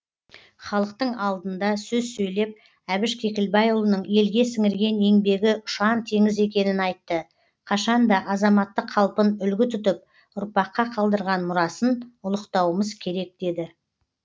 халықтың алдында сөз сөйлеп әбіш кекілбайұлының елге сіңірген еңбегі ұшан теңіз екенін айтты қашан да азаматтық қалпын үлгі тұтып ұрпаққа қалдырған мұрасын ұлықтауымыз керек деді